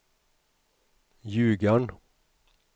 Ljugarn